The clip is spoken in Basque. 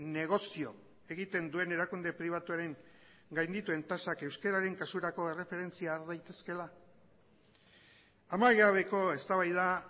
negozio egiten duen erakunde pribatuaren gaindituen tasak euskararen kasurako erreferentzia har daitezkeela amaigabeko eztabaida